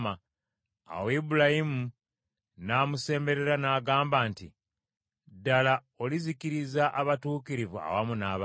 Awo Ibulayimu n’amusemberera n’agamba nti, “Ddala olizikiriza abatuukirivu awamu n’ababi?